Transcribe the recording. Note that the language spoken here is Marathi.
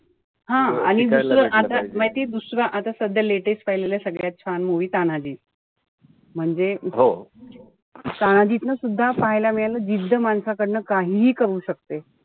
हा दुसरं आता माहितीये आता दुसरा सध्या latest पाहिलेलं सगळ्यात छान movie तानाजी. म्हणजे तानाजीतन सुद्धा पाहायला मिळालं जिद्ध माणसाकडनं काहीही करवू शकते.